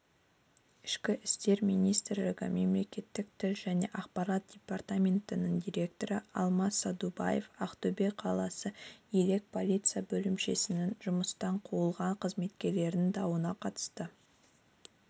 ішкі істер министрлігі мемлекеттік тіл және ақпарат департаментінің директоры алмас садубаев ақтөбе қаласы елек полиция бөлімшесінің жұмыстан қуылған қызметкерінің дауына қатысты